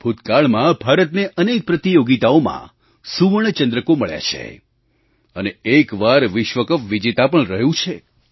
ભૂતકાળમાં ભારતને અનેક પ્રતિયોગિતાઓમાં સુવર્ણ ચંદ્રકો મળ્યા છે અને એક વાર વિશ્વ કપ વિજેતા પણ રહ્યું છે